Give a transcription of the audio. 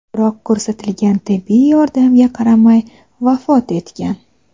Biroq ko‘rsatilgan tibbiy yordamga qaramay vafot etgan.